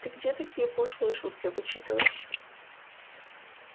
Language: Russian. ты где такие пошлые шутки вычитываешь